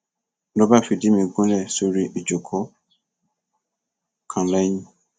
ló bá fìdí mi gúnlẹ sórí ìjókòó kan lẹyìn